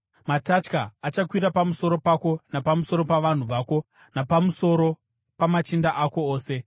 Matatya achakwira pamusoro pako napamusoro pavanhu vako napamusoro pamachinda ako ose.’ ”